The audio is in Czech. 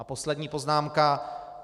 A poslední poznámka.